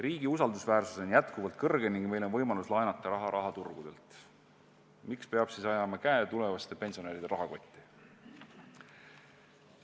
Riigi usaldusväärsus on jätkuvalt kõrge ning meil on võimalus laenata raha rahaturgudelt, miks peab siis ajama käe tulevaste pensionäride rahakotti?